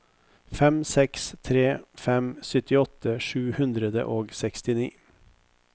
fem seks tre fem syttiåtte sju hundre og sekstini